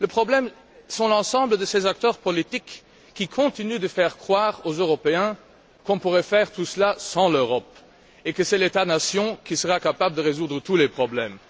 le problème, c'est l'ensemble de ces acteurs politiques, qui continuent de faire croire aux Européens qu'on pourrait faire tout cela sans l'Europe, et que c'est l'État nation qui sera capable de résoudre tous les problèmes.